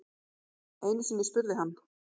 Einusinni spurði hann